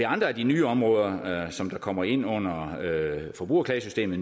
andre af de nye områder som kommer ind under forbrugerklagesystemet